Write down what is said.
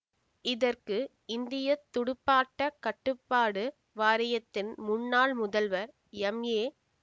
இதற்கு இந்திய துடுப்பாட்டக் கட்டுப்பாடு வாரியத்தின் முன்னாள் முதல்வர் எம்ஏ